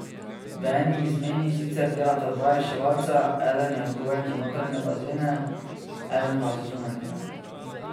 V eni izmeni sicer delata dva reševalca, eden je odgovoren za notranje bazene, eden pa za zunanjega.